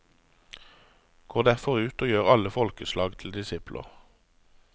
Gå derfor ut og gjør alle folkeslag til disipler.